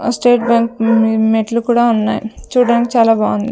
ఆ state bank మెట్లు కుడా ఉన్నాయ్ చూడ్డానికి చాలా బావుంది.